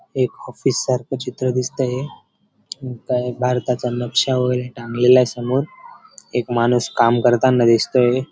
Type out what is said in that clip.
एक ऑफिस सारखं चित्र दिसतंय आणि काय भारताचा नक्शा वगैरे टांगलेला आहे समोर एक माणूस काम करताना दिसतोय.